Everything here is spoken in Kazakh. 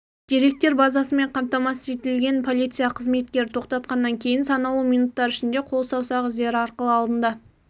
деректер базасымен қамтамасыз етілген полиция қызметкері тоқтатқаннан кейін санаулы минуттар ішінде қол-саусақ іздері арқылы алдында